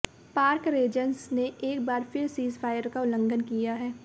पाक रेजर्स ने एक बार फिर सीजफायर का उल्लंघन किया है